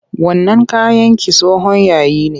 Wannan kayan naki tsohon yayi ne.